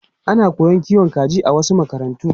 Ana koyon kiwon kaji a wasu makarantu.